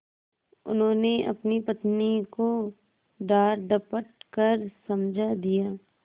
उन्होंने अपनी पत्नी को डाँटडपट कर समझा दिया